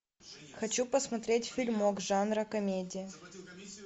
хочу посмотреть фильмок жанра комедия